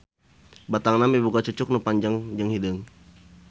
Batangna miboga cucuk nu panjang jeung hideung.